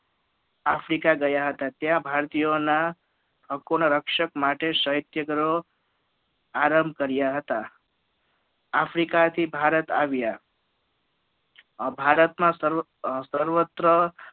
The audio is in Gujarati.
આફ્રિકા ગયા હતા ત્યાં ભારતીયો ના હકોના રક્ષક માટે સત્યાગ્રહો આરંભ કર્યા હતા ભારતમાં સર્વત્ર